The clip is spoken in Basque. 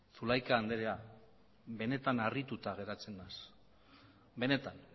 zulaika andrea benetan harrituta geratzen naiz benetan